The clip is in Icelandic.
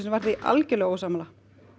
var því algjörlega ósammála